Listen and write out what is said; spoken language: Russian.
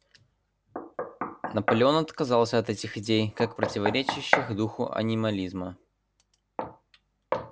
наполеон отказался от этих идей как противоречащих духу анимализма